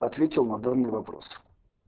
ответил на данный вопрос